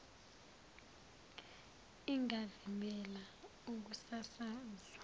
ingavimbela ukusaka zwa